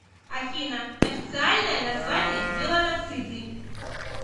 афина официальное название меланоциты